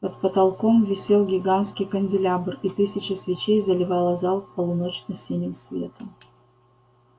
под потолком висел гигантский канделябр и тысяча свечей заливала зал полуночно-синим светом